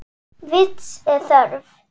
Vits er þörf